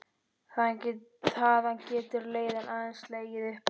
Þaðan getur leiðin aðeins legið upp á við.